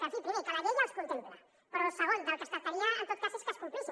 en fi primer que la llei ja els contempla però segon del que es tractaria en tot cas és que es complissin